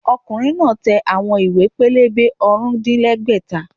Ọkùnrin náà tẹ àwọn ìwé-pélébé ọ̀rùndínlẹ́gbẹ́ta